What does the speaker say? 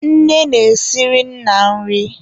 Nne na-esiri nna nri.